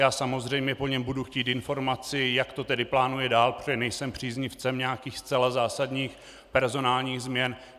Já samozřejmě po něm budu chtít informaci, jak to tedy plánuje dál, protože nejsem příznivcem nějakých zcela zásadních personálních změn.